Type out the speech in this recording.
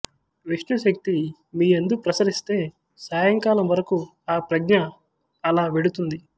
విష్ణుశక్తి మీయందు ప్రసరిస్తే సాయంకాలం వరకు ఆ ప్రజ్ఞ అలా వెడుతుంది